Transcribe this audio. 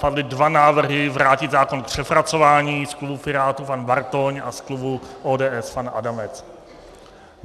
Padly dva návrhy vrátit zákon k přepracování, z klubu Pirátů pan Bartoň a z klubu ODS pan Adamec.